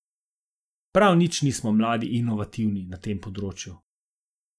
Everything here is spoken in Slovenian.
Prav nič nismo mladi inovativni na tem področju.